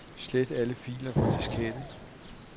Slet alle filer fra diskette.